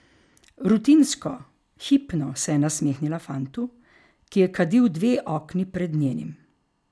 Rutinsko, hipno se je nasmehnila fantu, ki je kadil dve okni pred njenim.